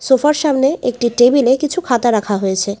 সোফার সামনে একটি টেবিলে কিছু খাতা রাখা হয়েছে।